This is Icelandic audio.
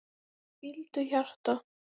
Hvíldu hjarta.